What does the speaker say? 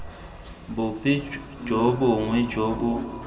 bope jo bongwe jo bo